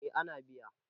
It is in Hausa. eh ana biya